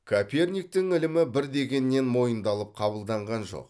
коперниктің ілімі бір дегеннен мойындалып қабылданған жоқ